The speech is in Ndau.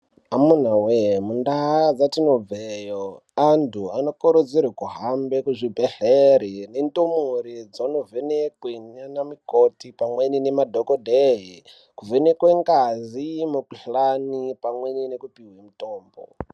Amunawe mundaa dzatinobveyo antu anokurudzirwa kuhambe kuzvibhedhlera nendumure dzonovhenekwe ndiana mukoti pamweni nemadhokodheya kuvhenekwe ngazi, mikuhlana pamwe nekupuwa mitombo.